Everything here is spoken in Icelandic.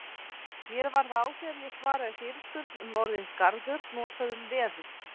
Mér varð á þegar ég svaraði fyrirspurn um orðið garður notað um veður.